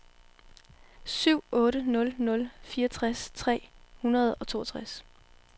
syv otte nul nul fireogtres tre hundrede og toogtres